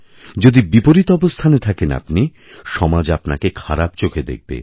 যদি বিপরীত অবস্থানে থাকেন আপনি সমাজ আপনাকে খারাপচোখে দেখবে